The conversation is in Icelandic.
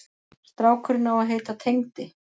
Strákurinn á að heita Tengdi.